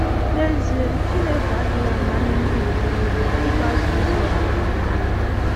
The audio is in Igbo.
N’ezie l, Chineke adịghị amanye ndị ntorobịa ịgbaso ụzọ ọbụla na ndụ.